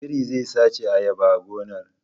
Biri zai sace ayaba a gonar